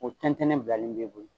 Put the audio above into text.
O tɛntɛn ne bilalen bɛ bolo.